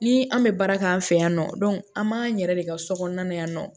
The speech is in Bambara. Ni an bɛ baara kɛ an fɛ yan nɔ an b'an yɛrɛ de ka so kɔnɔna yan nɔ